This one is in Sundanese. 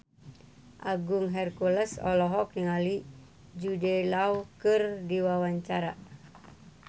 Agung Hercules olohok ningali Jude Law keur diwawancara